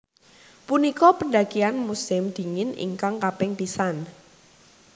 Punika pendakian musim dingin ingkang kaping pisan